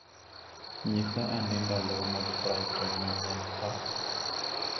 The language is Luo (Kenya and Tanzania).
Nyisa ane ndalo mag Brighton manyien pa